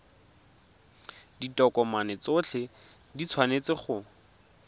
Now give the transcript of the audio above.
ditokomane tsotlhe di tshwanetse go